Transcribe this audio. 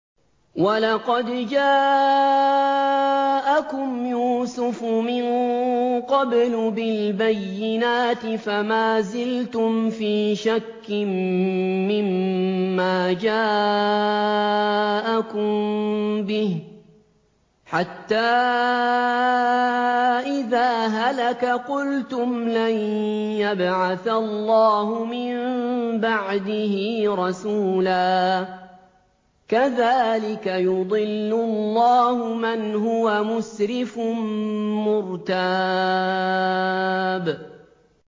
وَلَقَدْ جَاءَكُمْ يُوسُفُ مِن قَبْلُ بِالْبَيِّنَاتِ فَمَا زِلْتُمْ فِي شَكٍّ مِّمَّا جَاءَكُم بِهِ ۖ حَتَّىٰ إِذَا هَلَكَ قُلْتُمْ لَن يَبْعَثَ اللَّهُ مِن بَعْدِهِ رَسُولًا ۚ كَذَٰلِكَ يُضِلُّ اللَّهُ مَنْ هُوَ مُسْرِفٌ مُّرْتَابٌ